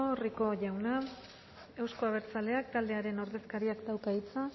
rico jauna euzko abertzaleak taldearen ordezkariak dauka hitza